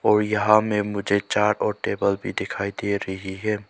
और यहां में मुझे चार और टेबल भी दिखाई दे रही है।